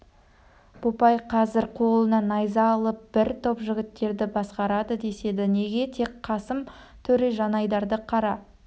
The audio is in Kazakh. бопай қазір қолына найза алып бір топ жігіттерді басқарады деседі неге тек қасым төре жанайдарды қара